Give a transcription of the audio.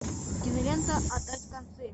кинолента отдать концы